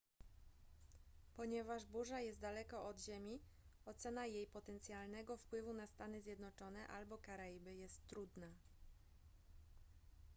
ponieważ burza jest daleko od ziemi ocena jej potencjalnego wpływu na stany zjednoczone albo karaiby jest trudna